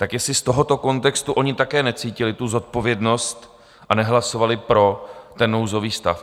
Tak jestli z tohoto kontextu oni také necítili tu zodpovědnost a nehlasovali pro ten nouzový stav.